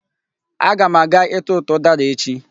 Aga m aga ịtụtụ ụdara echi.